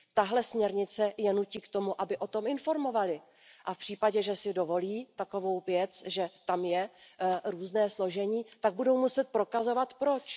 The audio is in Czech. Tato směrnice je nutí k tomu, aby o tom informovali a v případě, že si dovolí takovou věc, že tam je různé složení, tak budou muset prokazovat proč.